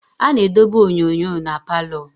A na-edobe onyonyo na palọ.